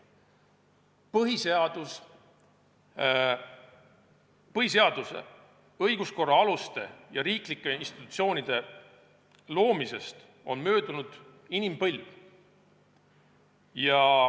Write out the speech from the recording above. Põhiseaduse, õiguskorra aluste ja riiklike institutsioonide loomisest on möödunud inimpõlv.